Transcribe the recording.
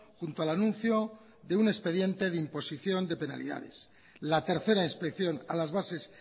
junto al anuncio de un expediente de imposición de penalidades la tercera inspección a las bases